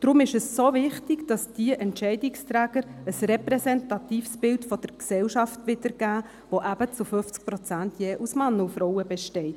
Deshalb ist es dermassen wichtig, dass diese Entscheidungsträger ein repräsentatives Bild der Gesellschaft widergeben, das eben zu 50 Prozent je aus Männern und Frauen besteht.